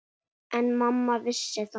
En mamma vissi það.